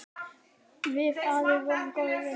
Við afi vorum góðir vinir.